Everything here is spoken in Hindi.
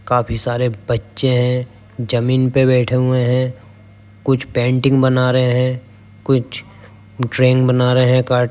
काफी सारे बच्चे हैं जमीन पर बैठे हुए हैं। कुछ पेंटिंग बना रहे हैं कुछ ड्राइंग बना रहे हैं। --